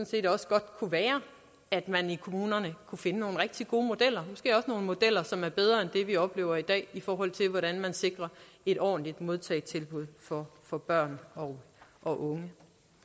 set også godt kunne være at man i kommunerne kunne finde nogle rigtig gode modeller måske nogle modeller som er bedre end det vi oplever i dag i forhold til hvordan de sikrer et ordentligt modtagetilbud for for børn og unge